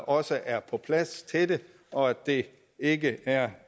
også er på plads til det og at det ikke er